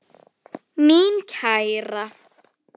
Mín kæra.